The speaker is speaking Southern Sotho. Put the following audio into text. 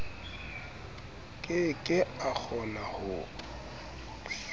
ke ke a kgona ho